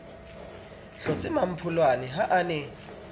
hlotse mmampholwane ha a ne